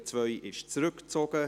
Die Ziffer 2 wurde zurückgezogen.